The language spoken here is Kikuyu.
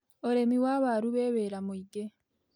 Ũrĩmi wa waru wĩ wĩra mũingĩ.